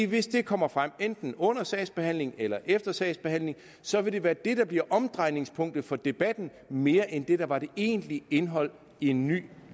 hvis det kommer frem enten under sagsbehandlingen eller efter sagsbehandlingen så vil det være det der bliver omdrejningspunktet for debatten mere end det der var det egentlige indhold i en ny